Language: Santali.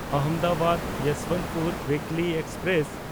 ᱟᱦᱚᱢᱫᱟᱵᱟᱫ–ᱭᱚᱥᱵᱚᱱᱛᱯᱩᱨ ᱩᱭᱤᱠᱞᱤ ᱮᱠᱥᱯᱨᱮᱥ